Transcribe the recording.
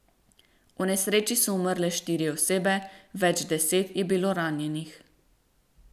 V nesreči so umrle štiri osebe, več deset je bilo ranjenih.